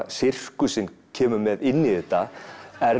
sirkusinn kemur með inn í þetta er